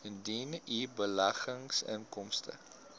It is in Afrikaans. indien u beleggingsinkomste